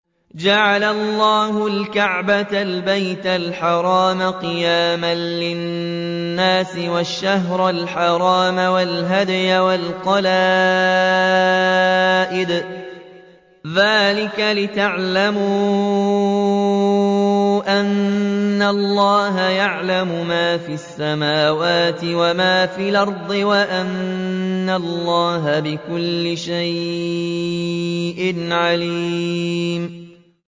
۞ جَعَلَ اللَّهُ الْكَعْبَةَ الْبَيْتَ الْحَرَامَ قِيَامًا لِّلنَّاسِ وَالشَّهْرَ الْحَرَامَ وَالْهَدْيَ وَالْقَلَائِدَ ۚ ذَٰلِكَ لِتَعْلَمُوا أَنَّ اللَّهَ يَعْلَمُ مَا فِي السَّمَاوَاتِ وَمَا فِي الْأَرْضِ وَأَنَّ اللَّهَ بِكُلِّ شَيْءٍ عَلِيمٌ